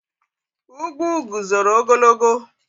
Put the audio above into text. Ugwu guzoro ogologo.